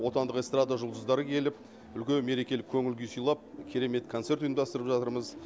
отандық эстрада жұлдыздары келіп үлкен мерекелік көңіл күй сыйлап керемет концерт ұйымдастырып жатырмыз